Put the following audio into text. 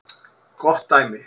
Gott dæmi